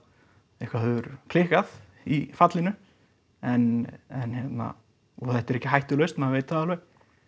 eitthvað hefur klikkað í fallinu en hérna og þetta er ekki hættulaust maður veit það alveg